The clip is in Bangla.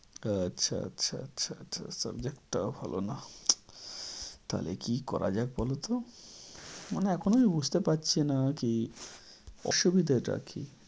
আচ্ছা আচ্ছা আচ্ছা আচ্ছা। subject টাও ভালো না। তাহলে কী করা যায় বলত? মানে এখনো আমি বুঝতে পারছি না কী অসুবিধাটা কী?